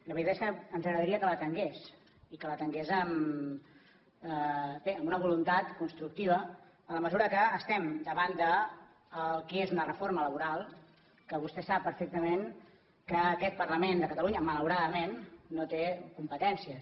la veritat és que ens agradaria que l’atengués i que l’atengués bé amb una voluntat constructiva en la mesura que estem davant del que és una reforma laboral que vostè sap perfectament que aquest parlament de catalunya malauradament no hi té competències